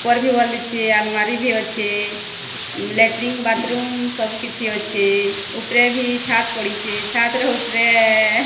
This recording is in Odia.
ଉପରେ ବି ଆଲମାରୀ ବି ଅଛେ। ଲାଟ୍ରିନ ବାଥ୍ ରୁମ୍ ସବୁ କିଛି ଅଛେ। ଉପରେ ଭି ଛାତ୍ ପଡ଼ିଛେ। ଛାତ୍ ର ଉପରେ --